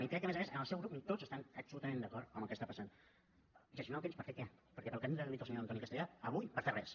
i crec que a més a més en el seu grup ni tots estan absolutament d’acord amb el que està passant gestionar el temps per fer què perquè pel que avui ens ha dit el senyor antoni castellà avui per fer res